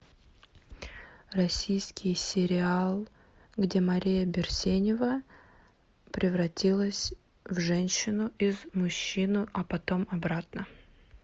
российский сериал где мария берсенева превратилась в женщину из мужчину а потом обратно